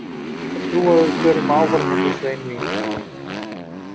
En ég hef fulla trú á því að við förum áfram úr þessu einvígi.